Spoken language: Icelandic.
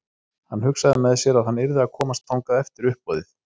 Hann hugsaði með sér að hann yrði að komast þangað eftir uppboðið.